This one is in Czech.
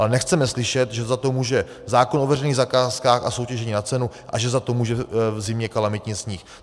Ale nechceme slyšet, že za to může zákon o veřejných zakázkách a soutěžení na cenu a že za to může v zimě kalamitní sníh.